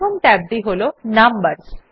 প্রথম ট্যাবটি হল নাম্বারস